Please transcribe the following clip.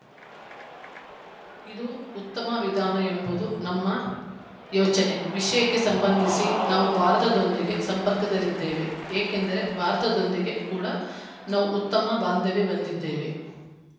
ಇದು ಉತ್ತಮ ವಿಧಾನ ಎಂಬುದು ನಮ್ಮ ಯೋಚನೆ ವಿಷಯಕ್ಕೆ ಸಂಬಂಧಿಸಿ ನಾವು ಭಾರತದೊಂದಿಗೆ ಸಂಪರ್ಕದಲ್ಲಿದ್ದೇವೆ ಯಾಕೆಂದರೆ ಭಾರತದೊಂದಿಗೆ ಕೂಡ ನಾವು ಉತ್ತಮ ಬಾಂಧವ್ಯ ಹೊಂದಿದ್ದೇವೆ